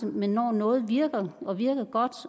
men når noget virker og virker godt